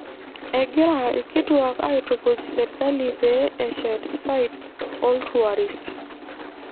Egira irkituak aaitukuj serkali pee eshet sites ooltuarist.